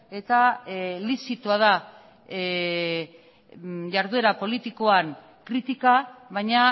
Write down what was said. eta lizitoa da jarduera politikoan kritika baina